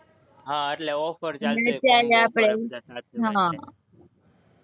હા એટલે offer ચાલતી હશે,